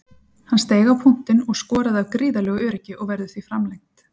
Hann steig á punktinn og skoraði af gríðarlegu öryggi og verður því framlengt.